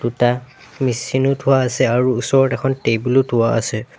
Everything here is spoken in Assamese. দুটা মেচিন ও থোৱা আছে আৰু ওচৰত এখন টেবুল ও থোৱা আছে।